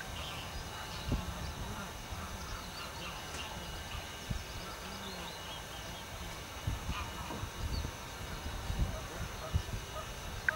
jang'ad bura miluongo ni Fidel Castorl, ne oyiero mar chungo tugo ka ne nitie jotugo moko Bob wuok e pap.